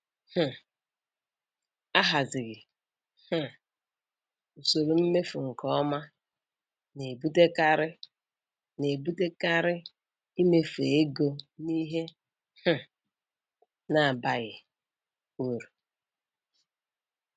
um Ahazighị um usoro mmefu nke ọma na-ebutekarị na-ebutekarị imefu ego n'ihe um na-abaghị uru